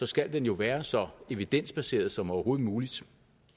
skal den jo være så evidensbaseret som overhovedet muligt